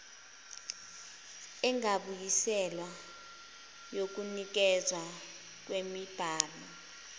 engabuyiselwa yokunikezwa kwemibhalo